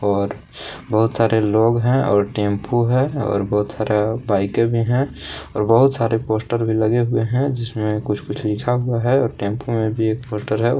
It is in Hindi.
और बहुत सारे लोग हैं और टेंपो है और बहुत सारा बाईके भी हैं और बहुत सारे पोस्टर भी लगे हुए हैं जिसमें कुछ कुछ लिखा हुआ है और टेंपो में भी एक पोस्टर है।